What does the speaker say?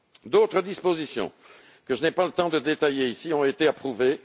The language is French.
D'autres dispositions, que je n'ai pas le temps de détailler ici, ont été approuvées